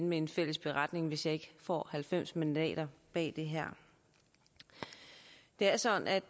med en fælles beretning hvis jeg ikke får halvfems mandater bag det her det er sådan at